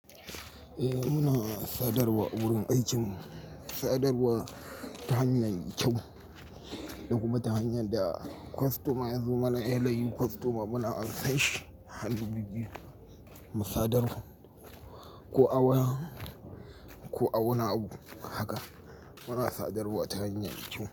Eh muna sadarwa awurin aikinmu, sadarwa ta hanya me kyau da kuma ta hanyar da kostoma yazo mana, da yanyin kostoma muna ansan shi, hannu bibbiyu mu sadar, ko a waya, ko a wani abu haka muna sadarwa ta hanyar kyau.